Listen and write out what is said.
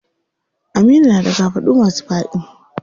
Aminu na da kafaɗu masu faɗi.